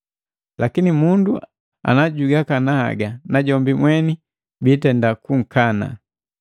Lakini mundu najugakana haga najombi mweni biitenda kunkana.